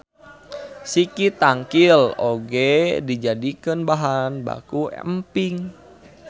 Siki tangkil oge dijadikeun bahan baku emping.